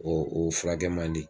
O o furakɛ man di